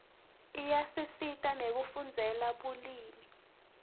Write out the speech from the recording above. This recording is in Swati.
iyasisita nekufundzela bumeli